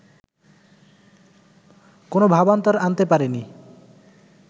কোনো ভাবান্তর আনতে পারেনি